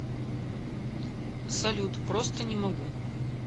салют просто не могу